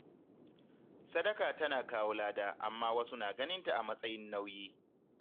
Sadaka tana kawo lada amma wasu na ganinta a matsayin nauyi.